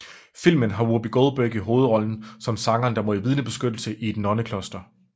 Filmen har Whoopi Goldberg i hovedrollen som sangeren der må i vidnebeskyttelse i et nonnekloster